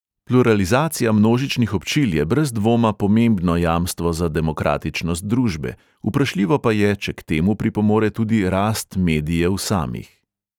Pluralizacija množičnih občil je brez dvoma pomembno jamstvo za demokratičnost družbe, vprašljivo pa je, če k temu pripomore tudi rast medijev samih.